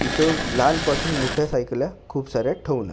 इथं लहानपासून मोठ्या सायकल्या खूप साऱ्या ठेवून आहे.